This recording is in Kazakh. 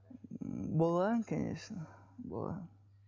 болған конечно болған